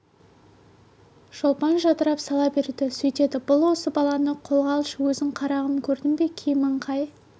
шолпан жадырап сала берді сөйтеді бұл осы баланы қолға алшы өзің қарағым көрдің бе киімін қай